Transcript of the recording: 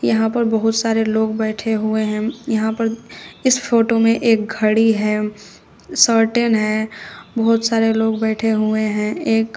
यहां पर बहुत सारे लोग बैठे हुए हैं यहां पर इस फोटो में एक घड़ी है सर्टेन है बहुत सारे लोग बैठे हुए हैं एक--